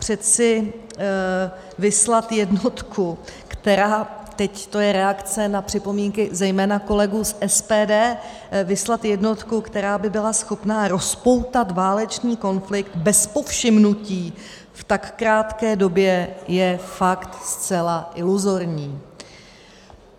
Přeci vyslat jednotku, která - teď to je reakce na připomínky zejména kolegů z SPD - vyslat jednotku, která by byla schopna rozpoutat válečný konflikt bez povšimnutí v tak krátké době, je fakt zcela iluzorní.